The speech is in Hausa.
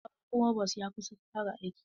Sabon frovos ya kusan fara aiki.